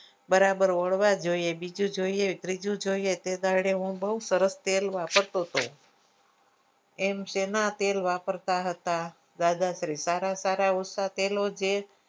બરાબર ઓલવા જોઈએ બીજું જોઈએ ત્રીજું જોઈએ તે દાડે હું બઉ સરસ તેલ વાપરતો હતો એમ શેના તેલ વાપરતા હતા દાદા શ્રી સારા સારા ઊંચા તેલો છે.